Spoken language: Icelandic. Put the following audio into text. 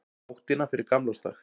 Nóttina fyrir gamlársdag.